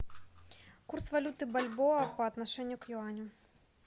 курс валюты бальбоа по отношению к юаню